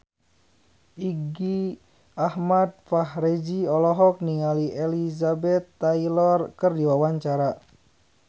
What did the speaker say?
Irgi Ahmad Fahrezi olohok ningali Elizabeth Taylor keur diwawancara